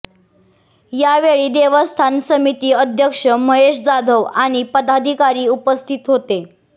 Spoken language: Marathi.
या वेळी देवस्थान समिती अध्यक्ष महेश जाधव आणि पदाधिकारी उपस्थित होते